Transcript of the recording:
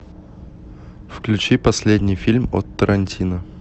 включи последний фильм от тарантино